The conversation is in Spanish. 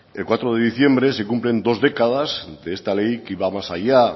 el cuatro de diciembre se cumple dos décadas de esta ley que iba más allá